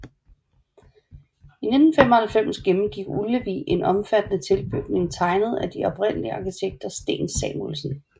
I 1995 gennemgik Ullevi en omfattende ombygning tegnet af en af de oprindelige arkitekter Sten Samuelsson